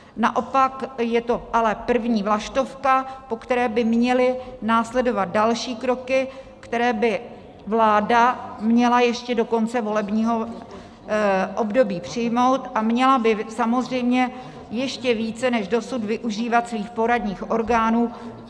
Naopak je to ale první vlaštovka, po které by měly následovat další kroky, které by vláda měla ještě do konce volebního období přijmout, a měla by samozřejmě ještě více než dosud využívat svých poradních orgánů.